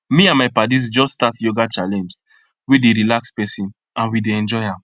me and my paddies just start yoga challenge wey dey relax person and we dey enjoy am